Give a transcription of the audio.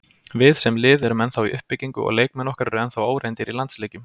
Við, sem lið, erum ennþá í uppbyggingu og leikmenn okkar eru ennþá óreyndir í landsleikjum.